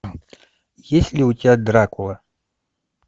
есть ли у тебя дракула